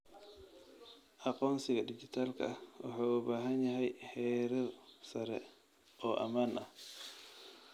Aqoonsiga dhijitaalka ah wuxuu u baahan yahay heerar sare oo ammaan ah.